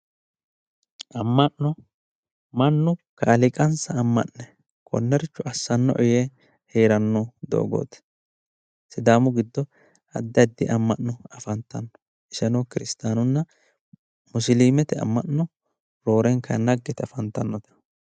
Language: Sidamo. Amma'no mannu kaaliiqansa amma'ne konnericho assannoe yee heeranno doogooti, sidaamu giddo addi addi amma'no afantanno iseno kiristaanunna musiliimete amma'no roorenka naggi yite afantanno